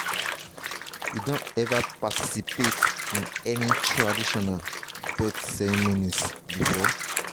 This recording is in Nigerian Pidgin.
you don ever participate in any traditional birth ceremonies before?